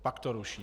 Fakt to ruší!